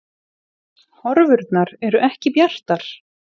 Horfurnar eru ekki bjartar